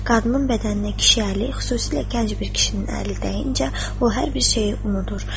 Qadının bədəninə kişi əli, xüsusilə gənc bir kişinin əli dəyincə, o hər bir şeyi unudur.